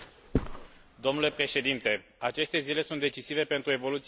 Aceste zile sunt decisive pentru evoluția democratică a Republicii Moldova.